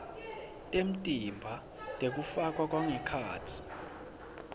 temtimba tekufakwa tangekhatsi